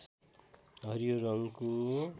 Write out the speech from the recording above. हरियो रङको